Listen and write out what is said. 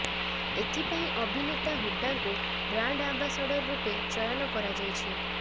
ଏଥିପାଇଁ ଅଭିନେତା ହୁଡ୍ଡାଙ୍କୁ ବ୍ରାଣ୍ଡ ଆମ୍ବାସାଡର ରୂପେ ଚୟନ କରାଯାଇଛି